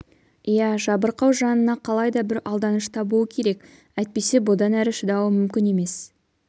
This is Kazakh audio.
иә жабырқау жанына қалай да бір алданыш табуы керек әйтпесе бұдан әрі шыдауы мүмкін емес